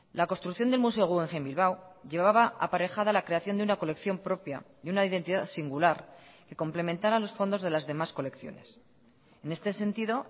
la construcción del museo guggenheim bilbao llevaba aparejada la creación de una colección propia y una identidad singular que complementara los fondos de las demás colecciones en este sentido